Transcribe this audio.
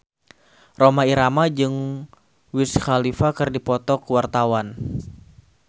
Rhoma Irama jeung Wiz Khalifa keur dipoto ku wartawan